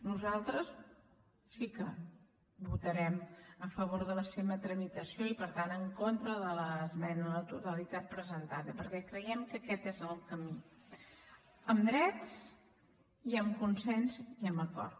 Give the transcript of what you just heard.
nosaltres sí que votarem a favor de la seva tramitació i per tant en contra de l’esmena a la totalitat presentada perquè creiem que aquest és el camí amb drets amb consens i amb acord